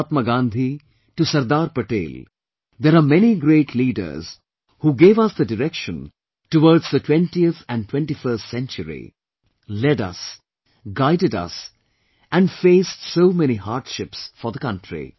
From Mahatma Gandhi to Sardar Patel, there are many great leaders who gave us the direction towards the 20th and 21st century, led us, guided us and faced so many hardships for the country